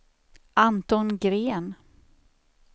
Anton Gren